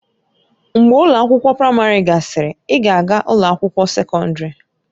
Mgbe ụlọ akwụkwọ praịmarị gasịrị, ị ga-aga ụlọ akwụkwọ sekọndrị.